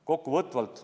Kokkuvõtvalt.